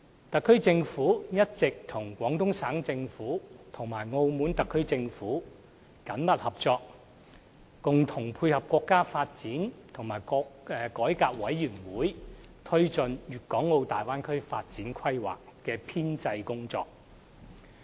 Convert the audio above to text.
特區政府一直與廣東省政府及澳門特區政府緊密合作，共同配合國家發展和改革委員會推進《粵港澳大灣區發展規劃》的編製工作。